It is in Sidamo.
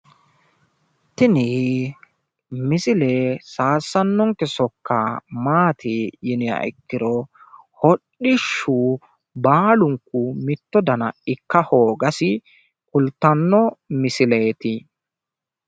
Tini misile saysanonke sokka hodhishshu baalunku mitu daniha ikka hoogasinna babbaxinohu hodhishshu gari noottati